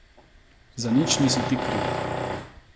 Za nič nisi ti kriva.